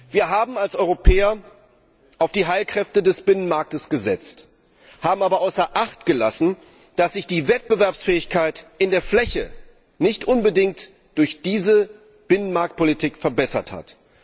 Wir haben als Europäer auf die Heilkräfte des Binnenmarktes gesetzt, haben aber außer Acht gelassen, dass sich die Wettbewerbsfähigkeit in der Fläche nicht unbedingt durch diese Binnenmarktpolitik verbessert hat.